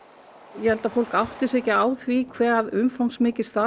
ég held að fólk átti sig ekki á því hve umfangsmikið starfið